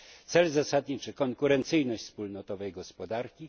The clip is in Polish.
Cel zasadniczy to konkurencyjność wspólnotowej gospodarki.